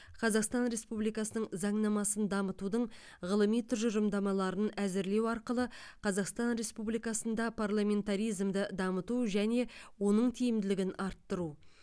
қазақстан республикасының заңнамасын дамытудың ғылыми тұжырымдамаларын әзірлеу арқылы қазақстан республикасында парламентаризмді дамыту және оның тиімділігін арттыру